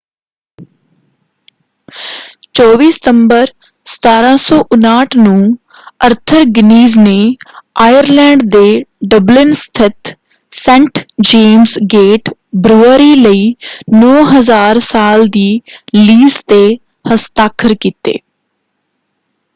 24 ਸਤੰਬਰ 1759 ਨੂੰ Arthur Guinness ਨੇ ਆਇਰਲੈਂਡ ਦੇ ਡਬਲਿਨ ਸਥਿਤ ਸੇਂਟ ਜੇਮਜ਼ ਗੇਟ ਬਰੂਅਰੀ ਲਈ 9,000 ਸਾਲ ਦੀ ਲੀਜ਼ 'ਤੇ ਹਸਤਾਖਰ ਕੀਤੇ।